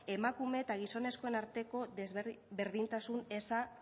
emakume eta gizonezkoen arteko berdintasun eza